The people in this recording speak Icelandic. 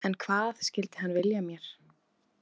En hvað skyldi hann vilja mér?